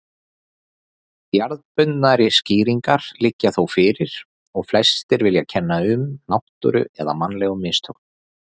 Jarðbundnari skýringar liggja þó fyrir og flestir vilja kenna um náttúru eða mannlegum mistökum.